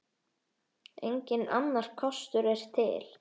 Enginn annar kostur er til.